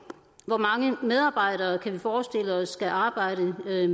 hvor mange medarbejdere kan vi forestille os skal arbejde med